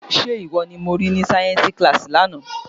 Ṣé ìwọ ni mo rí ní sáyẹ́ńsì kíláàsì lánàá?